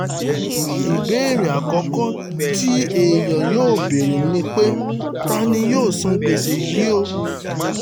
ìbéèrè àkọ́kọ́ tí èèyàn yóò béèrè ni pé ta ni yóò san gbèsè yìí o